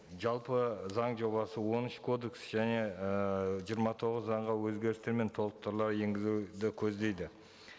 жалпы заң жобасы он үш кодекс және ыыы жиырма тоғыз заңға өзгерістер мен толықтырулар енгізуді көздейді